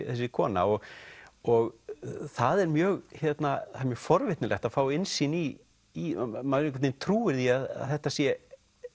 þessi kona og og það er mjög mjög forvitnilegt að fá innsýn í í maður einhvern veginn trúir því að þetta sé